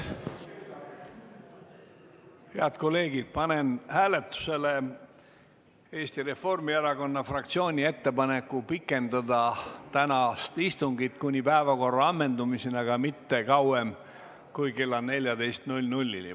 Head kolleegid, panen hääletusele Eesti Reformierakonna fraktsiooni ettepaneku pikendada tänast istungit kuni päevakorra ammendumiseni, aga mitte kauem kui kella 14-ni.